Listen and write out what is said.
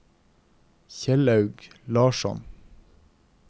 Kjellaug Larsson